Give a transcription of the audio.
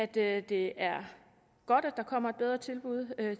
det er det er godt at der kommer et bedre tilbud